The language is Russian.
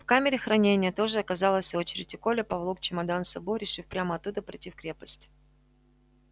в камере хранения тоже оказалась очередь и коля поволок чемодан с собой решив прямо оттуда пройти в крепость